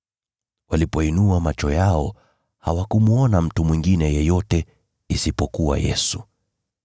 Walipoinua macho yao, hawakumwona mtu mwingine yeyote isipokuwa Yesu.